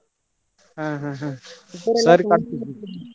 ಹಾ ಹಾ ಹಾ .